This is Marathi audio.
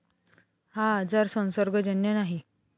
हा आजार संसर्गजन्य नाही.